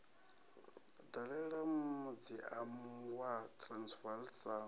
dalela muziamu wa transvaal sa